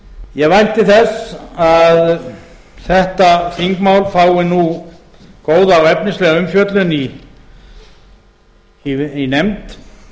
ég vænti þess að þetta þingmál fái nú góða og efnislega umfjöllun í nefnd